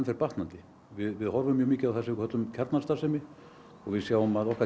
fer batnandi við horfum mjög mikið á það sem við köllum kjarnastarfsemi og við sjáum að okkar